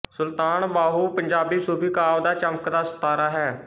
ਸੁਲਤਾਨ ਬਾਹੂ ਪੰਜਾਬੀ ਸੂਫ਼ੀ ਕਾਵਿ ਦਾ ਚਮਕਦਾ ਸਿਤਾਰਾ ਹੈ